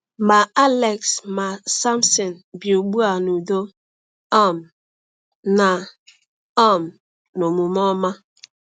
Ma Alex ma Samson bi ugbu a n’udo um na um n’omume ọma.